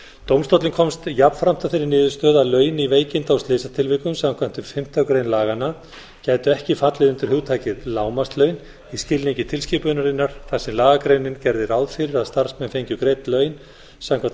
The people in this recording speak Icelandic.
dómstóllinn komst jafnframt að þeirri niðurstöðu að laun í veikinda og slysatilvikum samkvæmt fimmtu grein laganna gætu ekki fallið undir hugtakið lágmarkslaun í skilningi tilskipunarinnar þar sem lagagreinin gerði ráð fyrir að starfsmenn fengju greidd laun samkvæmt